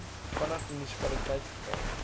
vanaf munisipaliteite verkry